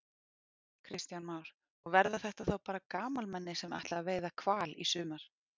Kristján Már: Og verða þetta þá bara gamalmenni sem ætla að veiða hval í sumar?